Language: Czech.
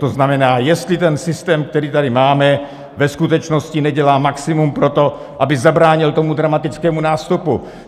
To znamená, jestli ten systém, který tady máme, ve skutečnosti nedělá maximum pro to, aby zabránil tomu dramatickému nástupu.